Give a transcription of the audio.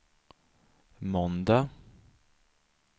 måndag